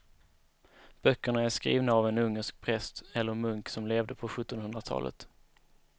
Böckerna är skrivna av en ungersk präst eller munk som levde på sjuttonhundratalet.